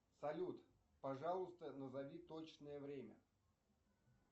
салют пожалуйста назови точное время